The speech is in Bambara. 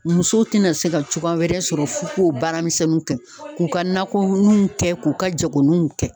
Musow te na se ka cogoya wɛrɛ sɔrɔ ,f'u k'o baaramisɛnninw kɛ k'u ka nakɔninw kɛ k'u ka jagoninw kɛ.